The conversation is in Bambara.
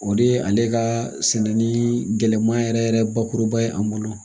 O de ye ale ka sɛnɛ ni gɛlɛman yɛrɛ yɛrɛ bakuruba ye an bolo